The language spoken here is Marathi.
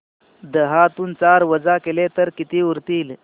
दहातून चार वजा केले तर किती उरतील